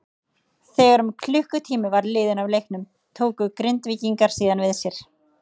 Þegar um klukkutími var liðinn af leiknum tóku Grindvíkingar síðan við sér.